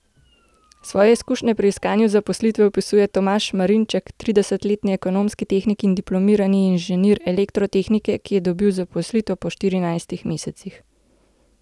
Svoje izkušnje pri iskanju zaposlitve opisuje Tomaž Marinček, tridesetletni ekonomski tehnik in diplomirani inženir elektrotehnike, ki je dobil zaposlitev po štirinajstih mesecih.